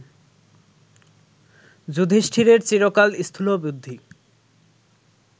যুধিষ্ঠিরের চিরকাল স্থূলবুদ্ধি